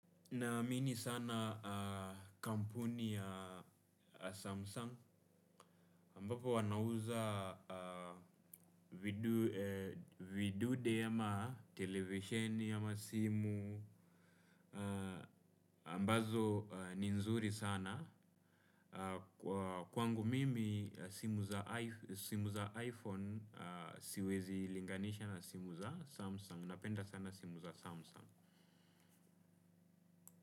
Naamini sana kampuni ya Samsung, ambapo wanauza vidude ama televisheni, ama simu, ambazo ni nzuri sana. Kwa kwangu mimi simu za iPhone, siwezi linganisha na simu za samsung. Napenda sana simu za Samsung.